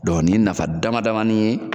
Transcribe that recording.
nin ye nafa dama damani ye